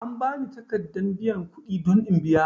An bani takaddan biyan kudi don in biya.